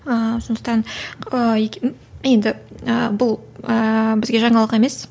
ыыы сондықтан ііі енді ііі бұл ііі бізге жаңалық емес